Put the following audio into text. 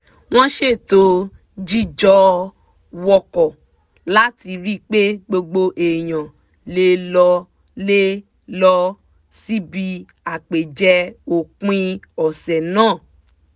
wọ́n ṣètò jíjọ wọkọ̀ láti ri pé gbogbo èèyàn lè lọ lè lọ síbi àpèjẹ òpin ọ̀sẹ̀ náà